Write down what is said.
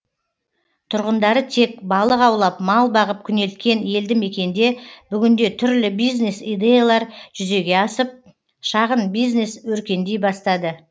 тұрғындары тек балық аулап мал бағып күнелткен елді мекенде бүгінде түрлі бизнес идеялар жүзеге асып шағын бизнес өркендей бастады